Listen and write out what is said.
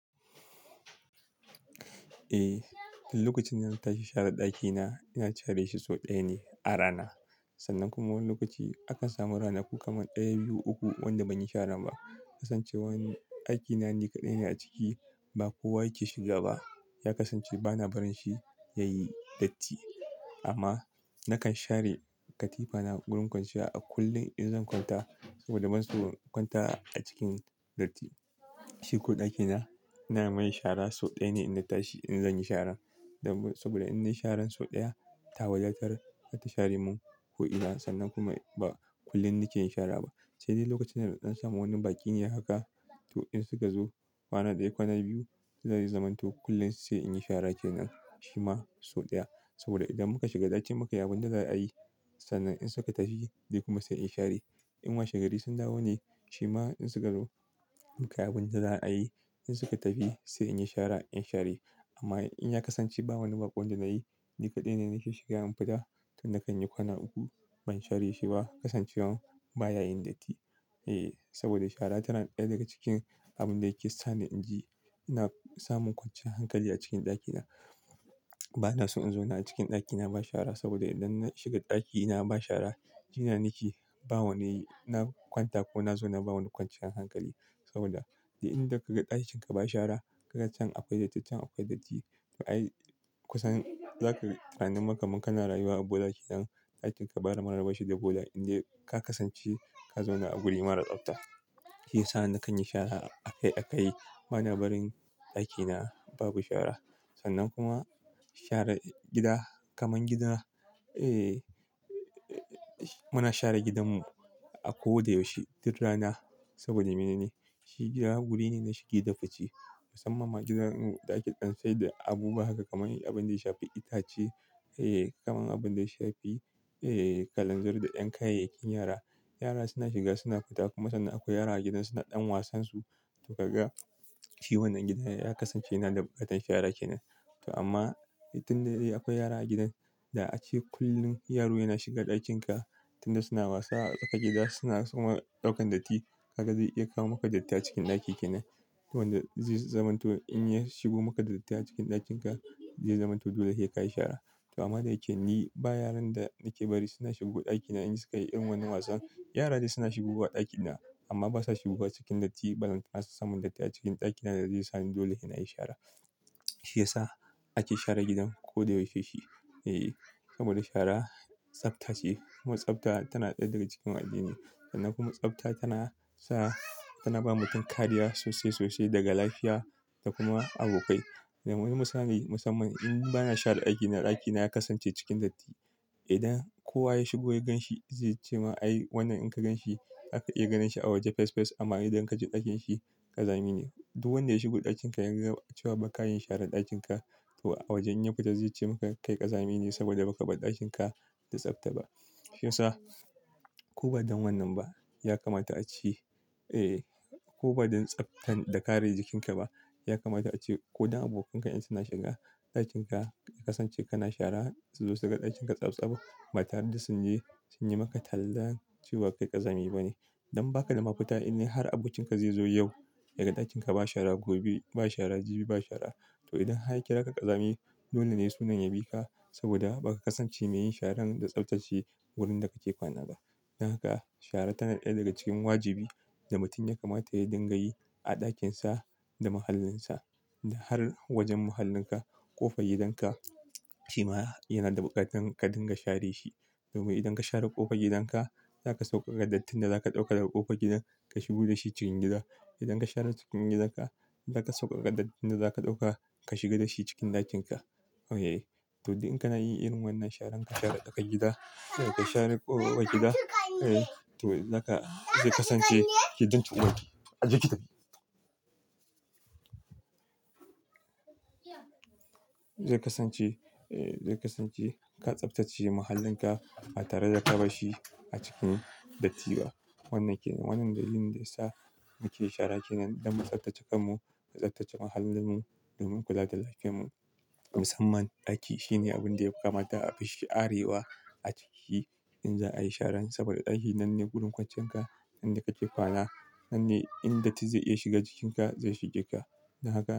Eh, lokacin da na tashi share ɗakina, ina share shi sau ɗaya ne a rana. Sannan kuma wani lokaci akan samu ranaku kaman ɗaya, biyu, uku wanda ban yi sharan ba. Kasancewan dakina ni kaɗai ne a ciki, ba kowa yake shiga ba. Ya kasance bana barin shi ya yi datti. Amma nakan share katifana wurin kwanciya a kullum in zan kwanta saboda ban so in kwanta a cikin datti. Shi ko ɗakina, ina mai shara sau ɗaya ne inna tashi in zan yi shara. Saboda in nayi sharan sau ɗaya, ta wadartar za ta share mun ko ina. Sannan kuma ba kullum nike yin shara ba. Sai dai lokacin da na dan samu wani baƙi ne haka. To in suka zo, kwana ɗaya, kwana biyu, zai zamanto kullum sai in yi shara kenan. Shi ma sau ɗaya. Saboda idan muka shiga ɗaki muka yi abin da za a yi, sannan in suka tafi ni kuma sai in share. In washegari sun dawo ne, shi ma in suka zo, muka yi abin da za a yi. In suka tafi sai in yi shara, in share. Amma in ya kasance ba wani baƙon da na yi, ni kaɗai ne nake shiga in fita, to nakan yi kwana uku ban share shi ba. Kasancewan baya yin datti. Eh, saboda shara tana ɗaya daga cikin abun da yake sa ni in ji ina samun kwanciyan hankali a cikin ɗakina. Bana so in zauna a cikin ɗaki na ba shara saboda idan na shiga ɗaki na ba shara, jina na ke. Ba wani na kwanta ko na zauna ba wani kwanciyan hankali. Saboda duk inda kaga ɗakin ka ba shara, kaga can akwai datti, can akwai datti. Ai kusan zaka, tunanin ma kaman ka na rayuwa a bola ke nan. Ɗakin ka ba mara banshi da bola. Indai ka kasance ka zauna a wuri mara tsafta. Shi ya sa nakan yi shara a kai a kai. Bana barin ɗakina babu shara. Sannan kuma share gida kaman gida, eh muna share gidanmu a ko da yaushe duk rana saboda mene ne? Shi gida wuri ne na shige da fice. Musamman ma gidarmu ɗa ake ɗan sai da abubuwa haka kaman abin da ya shafi itace, eh kaman abun da ya shafi, eh kalanzir da 'yan kayayyakin yara. Yara suna shiga suna fita kuma sannan akwai yara a gidan suna ɗan wasan su. To kaga shi wannan gida ya kasance yana da buƙatar share kenan. To amma tun da dai akwai yara a gidan, da ace kullum yaro yana shiga ɗakin ka. Tun da suna wasa a tsaƙar gida suna suma ɗaukan datti. Kaga zai iya kawo maka datti a cikin ɗaki kenan. Wanda zai zamanto in ya shigo maka da datti a cikin ɗakin ka zai zamanto dole sai ka yi shara. To amma da yake ni ba yaran da nake bari suna shigo ɗakina in suka yi irin wannan wasan. Yara dai suna shigowa ɗakina amma basa shigowa cikin datti. Balantana su samun datti a cikin ɗakina da zai sa ni dole sai na yi shara. Shi ya sa ake share gidan ko da yaushe shi. Eh, saboda shara tsafta ce kuma tsafta tana ɗaya daga cikin addini. Sannan kuma tsafta tana sa, tana ba mutum kariya sosai sosai daga lafiya da kuma abokai. Misali musamman in bana share daki na ɗakina ya kasance cikin datti. Idan kowa ya shigo ya gan shi zai ce ma ai wannan in ka gan shi aka iya ganin shi a waje fes fes amma idan ka je ɗakin shi ƙazami ne. Duk wanda ya shigo ɗakin ka ya ga cewa ba ka yin share ɗakin ka. To a waje in ya fita zai ce maka kai ƙazami ne saboda baka bar ɗakin ka da tsafta ba. Shi ya sa ko ba don wannan ba ya kamata a ce, eh ko ba don tsaftan da kare jikin ka ba, ya kamata a ce ko don abokanka in suna shiga ɗakin ka, ya kasance kana shara su zo su ga ɗakin ka tsabtsab ba tare da sun yi, sun yi maka tallan cewa kai ƙazami bane. Don ba ka da mafita in har abokin ka zai zo yau ya ga ɗakin ka ba shara gobe, ba shara jibi ba shara. To idan har ya kiraka ƙazami dole ne sunan ya bi ka saboda baka kasance mai yin sharan da tsaftace wurin da kake kwana ba. Don haka shara tana ɗaya daga cikin wajibi da mutum ya kamata ya dinga yi a ɗakin sa da mahallin sa. Da har wajen mahallin ka, ƙofar gidan ka, shi ma yana da buƙatan ka dinga share shi. Domin idan ka share ƙofar gidan ka, za ka sauƙaƙa dattin da za ka ɗauka daga ƙofar gidan ka shigo da shi cikin gida. Idan ka share cikin gidan ka, za ka sauƙaƙa dattin da za ka ɗauka ka shiga da shi cikin ɗakin ka. To duk in kana yin irin wannan sharan ka share saƙar gida, sai ka share ƙofar gida, eh to zaka zai kasance ke danci uwaki. Ajiye ki kitafi. Zai kasance, eh zai kasance ka tsaftace mahallin ka ba tare da ka bar shi a cikin datti ba. Wannan kenan, wannan dalilin daya sa muke shara kenan don mu tsaftace kanmu, mu tsaftace mahallin mu domin kula da lafiyar mu. Musamman ɗaki shine abun da ya kamata a fi sharewa a ciki in za a yi sharan. Saboda ɗaki nan ne gurin kwanciyan ka, yanda kake kwana, nan ne in datti zai iya shiga jikin ka, zai shige ka. Don haka.